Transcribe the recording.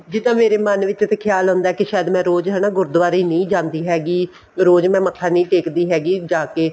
ਜਿੱਦਾਂ ਮੇਰੇ ਮਨ ਵਿੱਚ ਖਿਆਲ ਆਉਂਦਾ ਜਿੱਦਾਂ ਮੈਂ ਰੋਜ਼ ਗੁਰਦੁਵਾਰੇ ਨਹੀਂ ਜਾਂਦੀ ਹੈਗੀ ਰੋਜ਼ ਮੈਂ ਮੱਥਾ ਨਹੀਂ ਟੇਕਦੀ ਹੈਗੀ ਜਾ ਕੇ